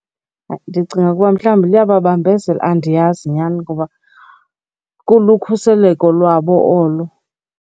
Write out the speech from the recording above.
Ndicinga ukuba mhlawumbi liyababambezela. Andiyazi nyhani ngoba kulukhuseleko lwabo olo.